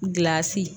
Gilasi